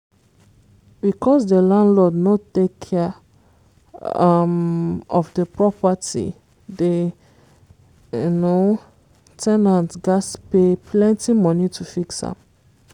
because the landlord no take care um of the property the um ten ant gatz pay plenty money to fix am